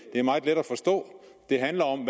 er meget let at forstå det handler om